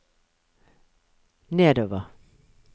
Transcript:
nedover